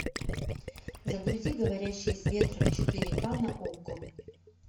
загрузи говорящий с ветром четыре ка на окко